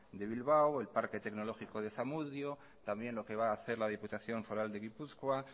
de bilbao el parque tecnológico de zamudio también lo que va a hacer la diputación foral de gipuzkoa